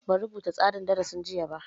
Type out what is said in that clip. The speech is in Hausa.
Ban rubuta tsarin darasin jiya ba